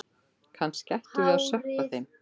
Kannski ættum við að sökkva þeim.